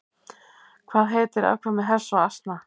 Hvað heitir afkvæmi hests og asna?